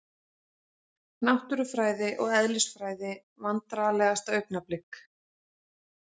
Náttúrufræði og eðlisfræði Vandræðalegasta augnablik?